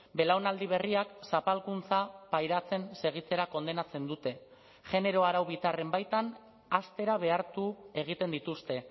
belaunaldi berriak zapalkuntza pairatzen segitzera kondenatzen dute genero arau bitarren baitan haztera behartu egiten dituzte